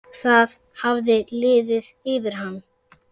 Það hafði liðið yfir hana.